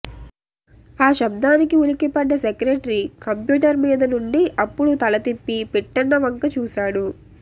ఆ శబ్దానికి ఉలిక్కిపడ్డ సెక్రటరీ కంప్యూటర్ మీద నుండి అప్పుడు తల తిప్పి పిట్టన్న వంక చూశాడు